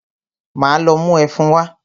Máa lọ mú ẹfun wá.